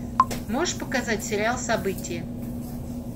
можешь показать сериал событие